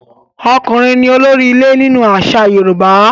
Ọkùnrin ni olórí ilé nínú àṣà Yorùbá.